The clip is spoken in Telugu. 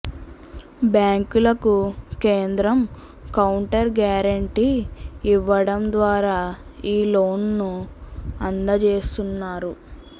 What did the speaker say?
బ్యాంకులకు కేంద్రం కౌంటర్ గ్యారెంటీ ఇవ్వడం ద్వారా ఈ లోన్లను అందజేస్తున్నారు